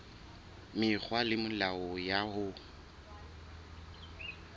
mekgwa le melao ya ho